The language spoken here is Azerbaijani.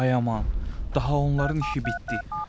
Ay aman, daha onların işi bitdi.